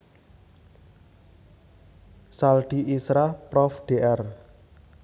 Saldi Isra Prof Dr